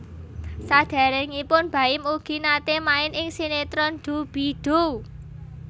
Saderengipun Baim ugi nate main ing sinetron Doo Bee Doo